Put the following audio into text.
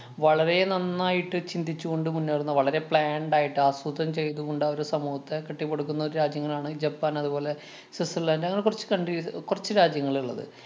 വളരെ നന്നായിട്ട് ചിന്തിച്ചു കൊണ്ട് മുന്നേറുന്ന വളരെ planned ആയിട്ട് ആസൂത്രം ചെയ്തു കൊണ്ടവര് സമൂഹത്തെ കെട്ടിപ്പെടുക്കുന്ന ഒരു രാജ്യങ്ങളാണ്‌ ജപ്പാന്‍ അതുപോലെ സ്വിറ്റ്സര്‍ലന്‍ഡ് അങ്ങനെ കൊറച്ച് countries കൊറച്ചു രാജ്യങ്ങള്‍ ഇള്ളത്.